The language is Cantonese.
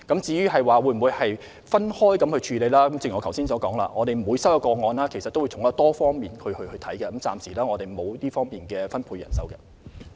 至於會否分開人手處理，正如我剛才所說，我們每收到一個個案，均會從多方面進行調查，現時沒有特別分開人手處理。